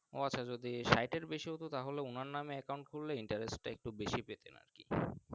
ও আচ্ছা যদি স্যাট এর বেশি ততো তাহলে ওনার নাম Account খুললে Interest টা একটু বেশি পেতেন আর কি।